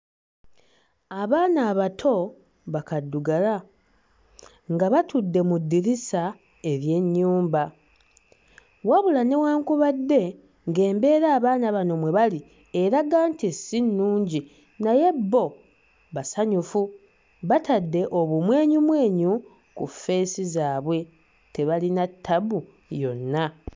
Abaana abato ba kaddugala nga batudde mu ddirisa ery'ennyumba, wabula newankubadde ng'embeera abaana bano mwe bali era nti si nnungi naye bo basanyufu batadde obumwenyumwenyu ku feesi zaabwe tebalina ttabbu yonna.